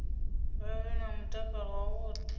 vha vhe na mutakalo wavhuḓi